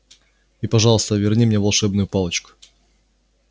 и пожалуйста верни мне волшебную палочку